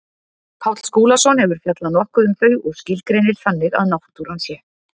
Páll Skúlason hefur fjallað nokkuð um þau og skilgreinir þannig að náttúran sé.